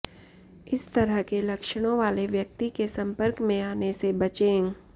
इस तरह के लक्षणों वाले व्यक्ति के संपर्क में आने से बचें